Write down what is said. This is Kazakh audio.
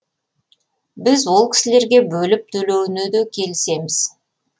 біз ол кісілерге бөліп төлеуіне де келісеміз